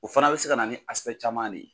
O fana bɛ se ka na ni caman ne ye.